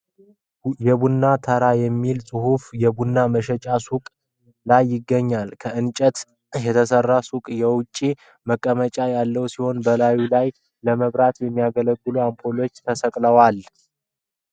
የቡና ተራ የሚል ጽሑፍ የቡና መሸጫ ሱቅ ላይ ይገኛል። ከእንጨት የተሰራው ሱቅ የውጪ መቀመጫ ያለው ሲሆን፣ በላዩ ላይ ለመብራት የሚያገለግሉ አምፖሎች ተሰቅለዋል።